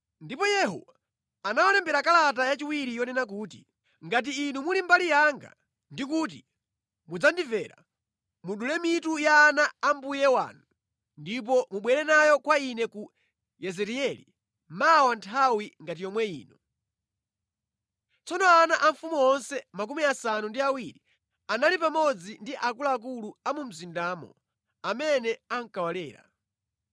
Ndipo Yehu anawalembera kalata yachiwiri yonena kuti, “Ngati inu muli mbali yanga ndi kuti mudzandimvera, mudule mitu ya ana a mbuye wanu ndipo mubwere nayo kwa ine ku Yezireeli mawa nthawi ngati yomwe ino.” Tsono ana a mfumu onse 70 anali pamodzi ndi akuluakulu a mu mzindamo, amene ankawalera.